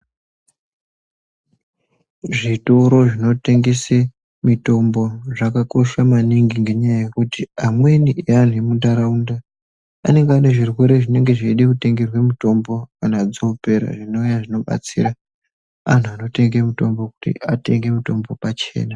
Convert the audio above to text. Zvitotoro zvino tengese mitombo zvaka kosha maningi ngenya yekuti amweni e anhu emu ntauraunda anenge ane zvirwere zvinenge zveida kutengerwe mutombo kana dzopera zvinova zvino batsira vantu vano tenga mutombo kuti atenge mutombo pachena .